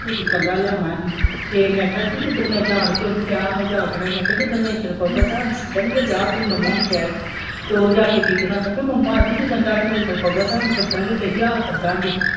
ਲੈਣਾ ਅਸੀਂ ਤੇ ਮੈਂ ਕਿਹਾ ਪੀ ਜਿਦਨ ਜਾਨ ਕੇ ਉਹਨੂੰ ਕਿਹਾ ਮਜਾਕ ਨਾਲ ਮੈਂ ਕਿਹਾ ਜਿਦਨ ਲੈਂਟਰ ਪਊਗਾ ਤੇ ਸਾਨੂੰ ਸੱਦਣ ਗਏ ਜਾ ਆਪਣੀ ਮੰਮਾ ਨੂੰ ਕਹਿ ਤੇ ਉਹ ਜਾ ਕੇ ਕਹਿੰਦਾ ਮੰਮਾ ਆਂਦੀ ਜਿਦਨ ਸਾਡੇ ਲੈਟਰ ਪਊਗਾ ਤੁਹਾਨੂੰ ਸਦਾਂਗੇ ਕਹਿੰਦੀ ਆਹੋ ਸਦਾਂਗੇ।